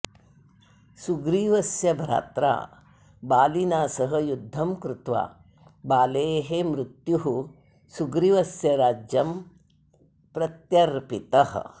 सुग्रीवस्य भ्रात्रा बालिना सह युद्धं कृत्वा बालेः मृत्युः सुग्रीवस्य राज्यं प्रत्यर्पितः